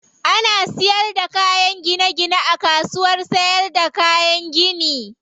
Ana siyar da kayan gine gine a kasuwar siyarda kayan gini.